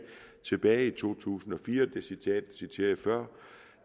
tilbage i to tusind og fire hvilket jeg citerede før